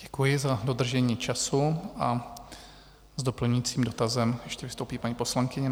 Děkuji za dodržení času a s doplňujícím dotazem ještě vystoupí paní poslankyně.